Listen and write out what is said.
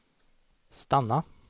stanna